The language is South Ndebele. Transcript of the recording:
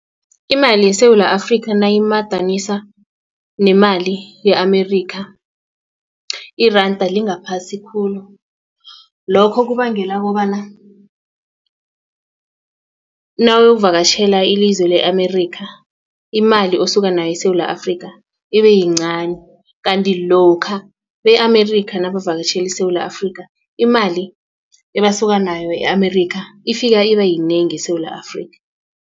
Imali yeSewula Afrika nayimadaniswa nemali ye-Amerika iranda lingaphasi khulu lokho kubangela kobana nawuyokuvakatjhela ilizwe le-Amerika imali osuka nayo eSewula Afrika ibe yincani kanti lokha be-America nabavakatjhele iSewula Afrika imali ebasuka nayo e-Amerikha ifika iba yinengi eSewula Afrika.